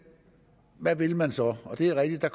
hvad vil man så det er rigtigt